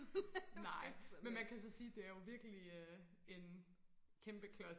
nej men man kan så sige det er jo virkelig øh en kæmpe klods